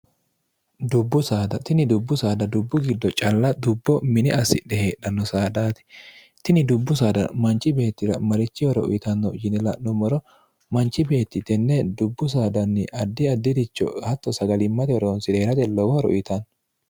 dbutini dubbu saada dubbu giddo calla dubbo mine assidhe heedhanno saadhaati tini dubbu saada manchi beettira marichi horo uyitanno yini la'nummoro manchi beetti tenne dubbu saadanni addi addiricho hatto saglmm horonsi'reerate lowohoro uyitanno